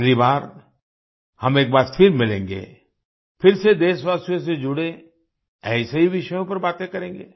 अगली बार हम एक बार फिर मिलेंगे फिर से देशवासियों से जुड़े ऐसे ही विषयों पर बातें करेंगे